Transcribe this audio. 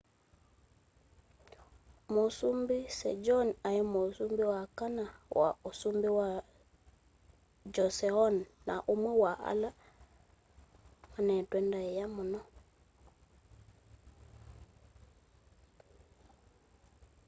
mũsumbĩ sejong aĩ mũsumbĩ wa kana wa ũsumbĩ wa joseon na ũmwe wa ala mane'twe ndaĩa mũno